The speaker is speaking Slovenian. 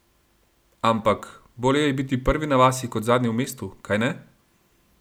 Ampak, bolje je biti prvi na vasi kot zadnji v mestu, kajne?